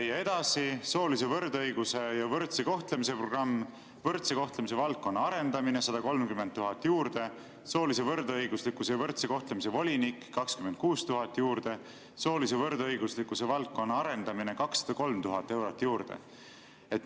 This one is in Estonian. Ja edasi, "Soolise võrdõiguslikkuse ja võrdse kohtlemise programm, võrdse kohtlemise valdkonna arendamine" – 130 000 juurde, "Soolise võrdõiguslikkuse ja võrdse kohtlemise volinik" – 26 000 juurde, "Soolise võrdõiguslikkuse valdkonna arendamine" – 203 000 eurot juurde.